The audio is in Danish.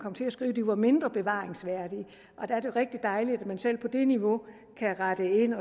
til at skrive at de var mindre bevaringsværdige og der er det rigtig dejligt at man selv på det niveau kan rette ind